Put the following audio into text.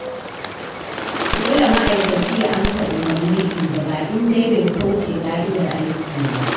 Dole ma'aikaci ya amsa umarnin shugaba, in dai bai kauce ƙa'idar aiki ba.